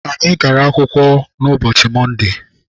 Anyị gara akwụkwọ ụbọchị Mọnde.